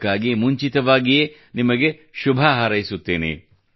ಇದಕ್ಕಾಗಿ ಮುಂಚಿತವಾಗಿಯೇ ನಿಮಗೆ ಶುಭ ಹಾರೈಸುತ್ತೇನೆ